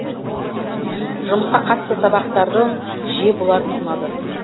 жұмысқа қатысты сабақтардың жиі болатыны ұнады